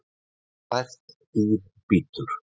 Sært dýr bítur